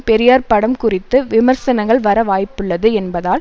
பெரியார் படம் குறித்து விமர்சனங்கள் வர வாய்ப்புள்ளது என்பதால்